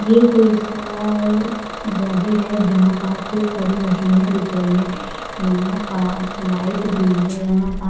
ये कोई सा जगह है जहा पास खूब सारी मशिने दिख रही है यहा पास लाइट भी है यहा पा--